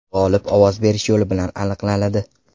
G‘olib ovoz berish yo‘li bilan aniqlanadi.